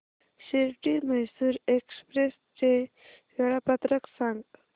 Shirdi Mysore express चे वेळापत्रक सांग